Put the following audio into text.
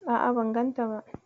A'a, ban ganta ba.